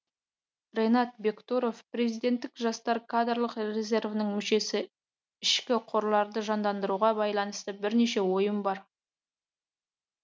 ренат бектұров президенттік жастар кадрлық резервінің мүшесі ішкі қорларды жандандыруға байланысты бірнеше ойым бар